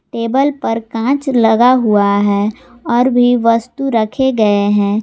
Table पर कांच लगा हुआ है और भी वस्तु रखे गए हैं।